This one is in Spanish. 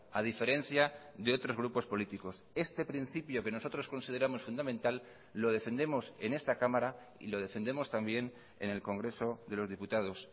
a diferencia de otros grupos políticos este principio que nosotros consideramos fundamental lo defendemos en esta cámara y lo defendemos también en el congreso de los diputados